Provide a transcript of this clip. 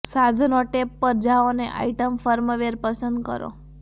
સાધનો ટેબ પર જાઓ અને આઇટમ ફર્મવેર પસંદ કરો